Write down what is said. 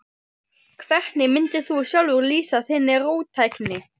Hvernig mundir þú sjálfur lýsa þinni róttækni?